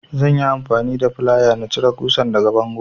Zan yi amfani da flaya in cire ƙusar daga bango.